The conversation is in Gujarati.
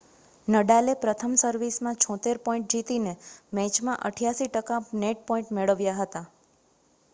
નડાલે પ્રથમ સર્વિસમાં 76 પોઇન્ટ જીતીને મેચમાં 88 ટકા નેટ પોઇન્ટ મેળવ્યા હતા